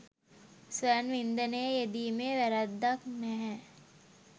ස්වයං වින්දනයේ යෙදීමේ වැරැද්දක් නැහැ